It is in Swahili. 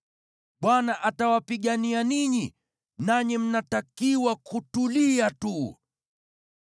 Bwana atawapigania ninyi, nanyi mnatakiwa kutulia tu.”